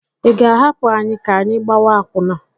Ị ga-ahapụ anyị ka anyị gbawa akwụna?